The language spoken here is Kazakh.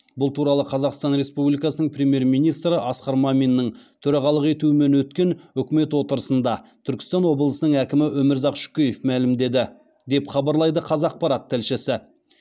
бұл туралы қазақстан республикасының премьер министрі асқар маминнің төрағалық етуімен өткен үкімет отырысында түркістан облысының әкімі өмірзақ шөкеев мәлімдеді деп хабарлайды қазақпарат тілшісі